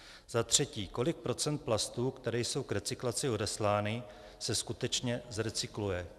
Za třetí: Kolik procent plastů, které jsou k recyklaci odeslány, se skutečně zrecykluje?